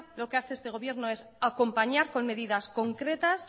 lo que hace este gobierno es acompañar con medidas concretas